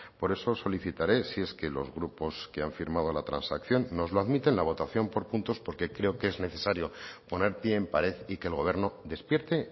por eso solicitaré si es que los grupos que han firmado la transacción nos lo admiten la votación por puntos porque creo que es necesario poner píe en pared y que el gobierno despierte